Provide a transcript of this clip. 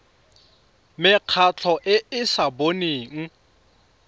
mekgatlho e e sa boneng